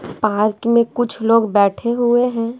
Park में कुछ लोग बैठे हुए हैं।